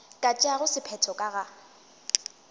ka tšeago sephetho ka ga